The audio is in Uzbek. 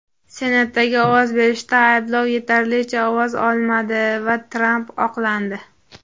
Senatdagi ovoz berishda ayblov yetarlicha ovoz olmadi va Tramp oqlandi.